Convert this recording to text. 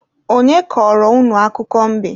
Onye kọrọ unu akụkọ mbe?